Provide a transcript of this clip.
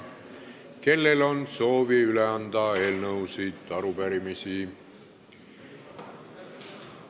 Kellel on soovi üle anda eelnõusid või arupärimisi?